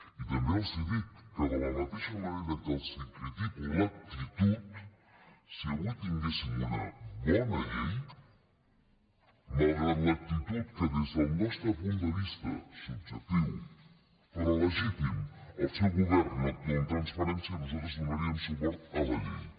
i també els dic que de la mateixa manera que els critico l’actitud si avui tinguéssim una bona llei malgrat l’actitud que des del nostre punt de vista subjectiu però legítim el seu govern no actua amb transparència nosaltres donaríem suport a la llei